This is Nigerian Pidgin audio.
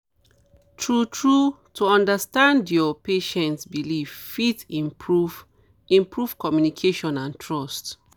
true true to understand your um patient um beliefs fit um improve improve communication and trust